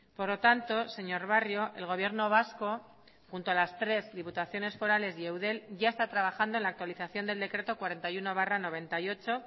por lo tanto señor barrio el gobierno vasco junto a las tres diputaciones forales y eudel ya está trabajando en la actualización del decreto cuarenta y uno barra noventa y ocho